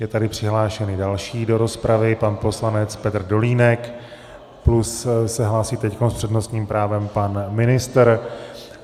Je tady přihlášen další do rozpravy pan poslanec Petr Dolínek plus se hlásí teď s přednostním právem pan ministr.